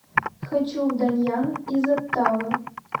хочу в даньян из оттавы